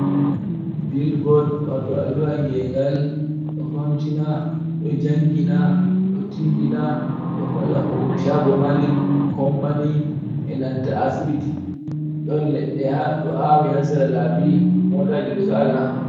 bilbod wato alluwangengal ɗo famtina ɗo jangina ɗo tindina ɗo holla shago mari company e nanta asbiti ɗon le ɗe hado awi hasara labi mota jerusala.